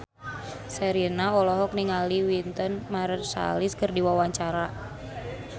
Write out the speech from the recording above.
Sherina olohok ningali Wynton Marsalis keur diwawancara